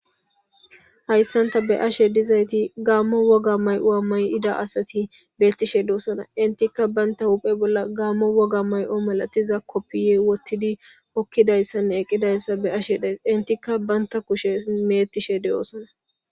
Hayssan ta be ashe dizayti gaammo woga may'oa may'ida asati beettishe deosona intikka baynta huphe bolla gaammo woga may'o malatiza koppiye wottidi okkidayssanne eqqidayssa be ashe days intikka baynta kushe meettishe de'oosona